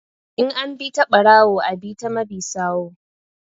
In an bi ta ɓarawo a ɓi ta mabi sawu